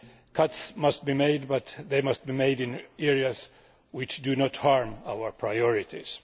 cuts must be made, but they must be made in areas which do not harm our priorities.